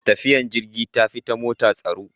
Tafiyar jirgin sama tafi ta mota tsaro.